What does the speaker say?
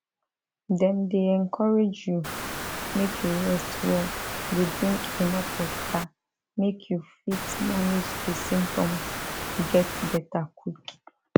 dem dey encourage you make you rest well dey drink enuf water make you fit manage di symptoms get beta quick